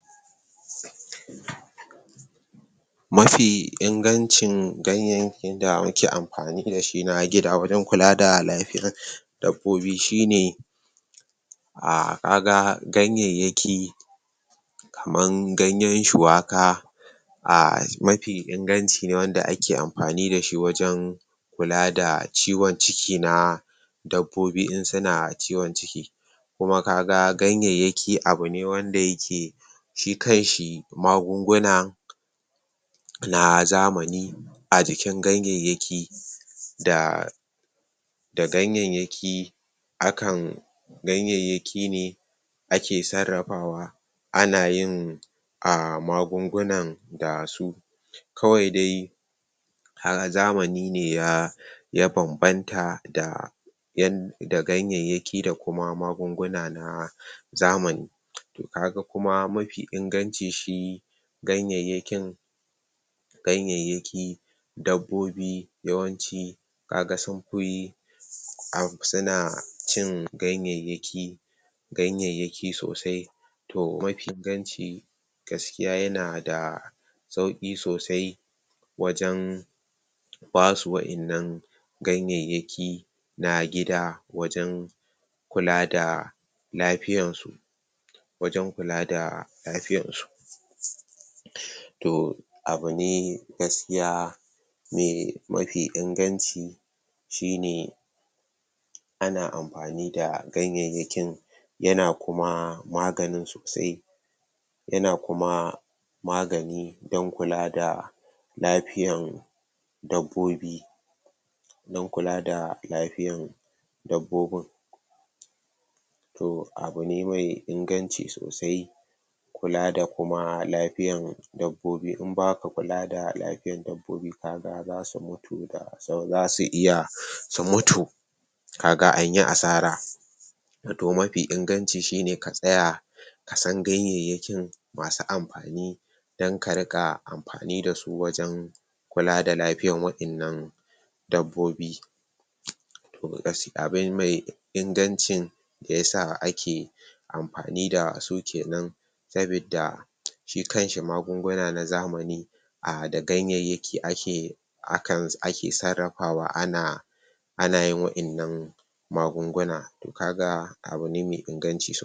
Mafi ingancin ganyayyakin da muke amfani da shi na gida wajen kula da lafiyar dabbobi shine kaga ganyayyaki kaman ganyen shuwaka mafi inganci nw wanda ake amfani da shi wajen kula da ciwon ciki na dabbobi in suna ciwon ciki kuma kaga ganyayyaki abu ne wanda yake shi kanshi magunguna na zamani a jikin ganyayyaki? da ganyayyaki akan ganyayyaki ne ake sarrafawa ana yin magungunan da su kawai dai? zamani ne ya? ya bambanta? da ganyayyaki da magunguna na zamani kaga kuma mafi inganci shi ganyayyakin? dabbobi yawanci?? suna cin? ganyayyaki sosai to mafi inganci gaskiya yana da sauƙi sosai wajen basu wa'innan ganayyayki na gida wajen kula da lafiyan su? to abu negaskiya mai mafi inganci shine ana amfani da ganyayyakin yana kuma magani sosai yana kuma magani don kula da lafiyan dabbobi don kula da lafiyan dabbobin to abu ne mai inganci sosai kula da kuma lafiyan dabbobi in ba ka kula da lafiyan dabbobi kaga za su mutu za su iya su mutu ka ga an yi asara to mafi inganci shine ka tsaya ka san ganyayyakin masu amfani don ka riƙa amfani da su wajen kula da lafiyan wa'innan dabbobi? abu mai inganci shiyasa ake amfani da su kenan sabidda shi kanshi magunguna na zamani da ganyayyaki ake? sarrafawa ana ana yin wa'innan magunguna kaga abu ne mai inganci sosai